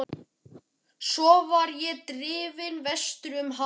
Svo var ég drifinn vestur um haf.